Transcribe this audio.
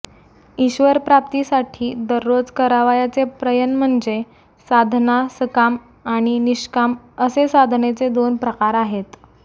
ईश्वरप्राप्तीसाठी दररोज करावयाचे प्रयन म्हणजे साधना़ सकाम आणि निष्काम असे साधनेचे दोन प्रकार आहेत